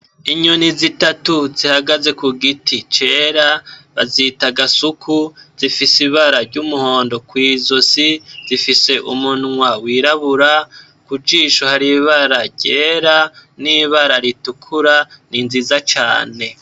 Inyoni zitatu zihagaze kugiti cera, bazita gasuku zifise ibara ry'umuhondo kw'izosi, zifise umunwa wirabura, kujisho har'ibara ryera, n'ibara ritukura ni nziza cane.